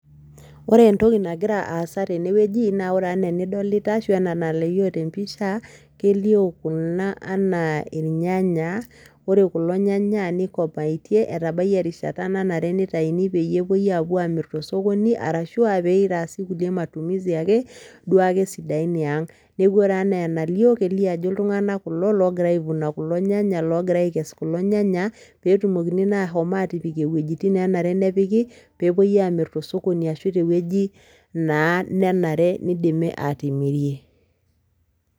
Ore entoki nagira aasa tene wueji naa ore enaa enidolita ashu anaa enalio te mpisha , kelio kuna anaa irnyanya, ore kulo nyanya nikomaitie, etabayie erishata nanare peyie itaini pe epuoi amir tosokoni arashu peitaasi kulie matumisi ake uake sidain eang. Niaku ore enaa enalioo , kelio ajo iltunganak kulo logira aivuna kulo nyanya , logira aikesu kulo nyanya petumokini naa ashomatipik iwuejitin nenare nepiki, peepui amir tosokoni ashu te wueji naa nenare nidimi atimirie.